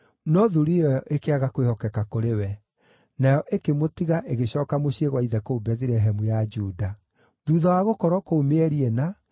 No thuriya ĩyo ĩkĩaga kwĩhokeka kũrĩ we. Nayo ĩkĩmũtiga ĩgĩcooka mũciĩ gwa ithe kũu Bethilehemu ya Juda. Thuutha wa gũkorwo kũu mĩeri ĩna,